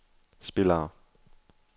spillere